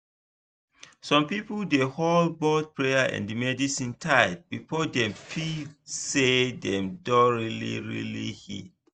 some people dey hold both prayer and medicine tight before dem fit feel say dem don really really heal.